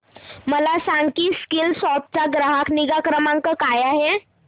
मला सांग की स्कीलसॉफ्ट चा ग्राहक निगा क्रमांक काय आहे